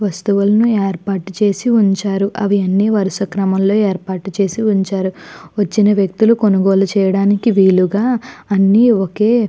వస్తువులను ఏర్పాటు చేసి ఉంచారు అవన్నీ వరుస క్రమంలో ఏర్పాటు చేసి ఉంచారు. వచ్చిన వ్యక్తులు కొనుగోలు చేయడానికి వీలుగా అన్ని ఒకే --